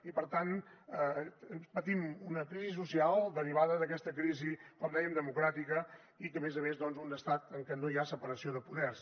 i per tant patim una crisi social derivada d’aquesta crisi com dèiem democràtica i que a més a més un estat en què no hi ha separació de poders